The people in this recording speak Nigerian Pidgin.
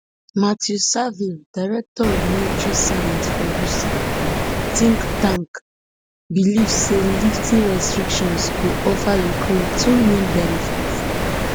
matthew savill director of military science for rusi think tank believe say lifting restrictions go offer ukraine two main benefits